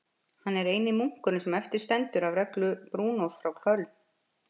Hann er eini munkurinn sem eftir stendur af reglu Brúnós frá Köln.